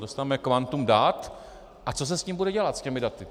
Dostaneme kvantum dat - a co se s nimi bude dělat, s těmi daty?